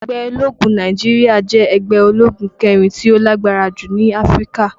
Ẹgbẹ́ ológun Naijiria jẹ́ ẹgbẹ́ ológun kẹrin tí ó lágbára jù ní Áfríkà.